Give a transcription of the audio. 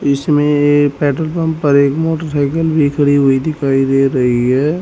इसमें एक petrol pump पर मोटरसाइकिल भी खड़ी दिखाई दे रही है।